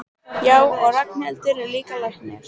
Já, og Ragnhildur er líka læknir.